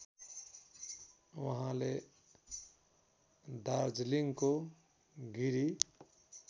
उहाँले दार्जिलिङको गिरी